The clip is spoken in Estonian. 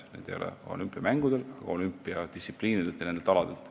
Need ei ole küll olümpiamängudelt saadud, kuid pärinevad olümpiadistsipliinidelt, nendelt aladelt.